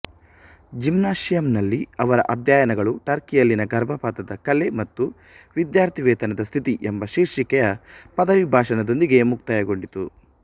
ಜಿಮ್ನಾಷಿಯಂನಲ್ಲಿ ಅವರ ಅಧ್ಯಯನಗಳು ಟರ್ಕಿಯಲ್ಲಿನ ಗರ್ಭಪಾತದ ಕಲೆ ಮತ್ತು ವಿದ್ಯಾರ್ಥಿವೇತನದ ಸ್ಥಿತಿ ಎಂಬ ಶೀರ್ಷಿಕೆಯ ಪದವಿ ಭಾಷಣ ದೊಂದಿಗೆ ಮುಕ್ತಾಯಗೊಂಡಿತು